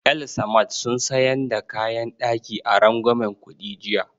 El-samad sun sayan da kayan ɗaki a rangwamen kuɗi jiya